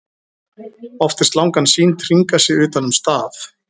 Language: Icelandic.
oft er slangan sýnd hringa sig utan um staf